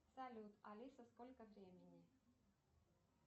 салют алиса сколько времени